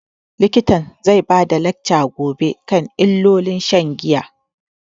Likitan zai bada lacca gobe akan illolin shan giya